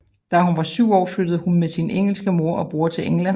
Da hun var syv år flyttede hun med sin engelske mor og bror til England